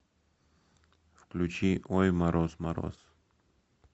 включи ой мороз мороз